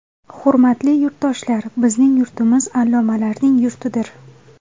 Hurmatli yurtdoshlar, bizning yurtimiz allomalarning yurtidir.